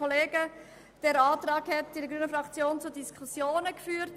Der Antrag hat in der Fraktion der Grünen zu Diskussionen geführt.